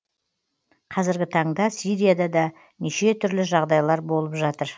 қазіргі таңда сирияда да неше түрлі жағдайлар болып жатыр